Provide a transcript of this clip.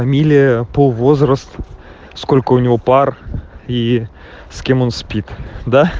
фамилия пол возраст сколько у него пар и с кем он спит да